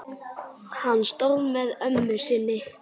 Hann stóð með ömmu sinni.